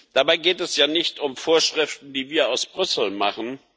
Dabei geht es ja nicht um Vorschriften, die wir aus Brüssel machen.